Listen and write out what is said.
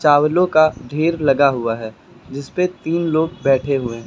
अवलो का ढेर लगा हुआ है जिस पे तीन लोग बैठे हुए हैं।